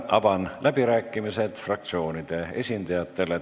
Avan läbirääkimised fraktsioonide esindajatele.